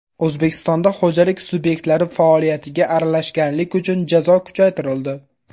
O‘zbekistonda xo‘jalik subyektlari faoliyatiga aralashganlik uchun jazo kuchaytirildi.